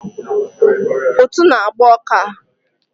Ụtụ na agba ọka a